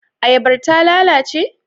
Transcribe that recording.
Ayabar ta lalace?